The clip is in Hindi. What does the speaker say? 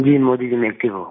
जी मोदी जी मैं एक्टिव हूँ